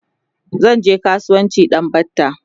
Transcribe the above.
zanje kasuwanci a ɗan batta